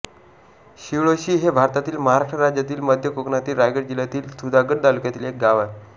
शिळोशी हे भारतातील महाराष्ट्र राज्यातील मध्य कोकणातील रायगड जिल्ह्यातील सुधागड तालुक्यातील एक गाव आहे